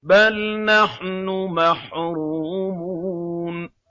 بَلْ نَحْنُ مَحْرُومُونَ